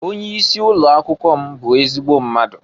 Onye isi ụlọakwụkwọ m bụ ezigbo mmadụ.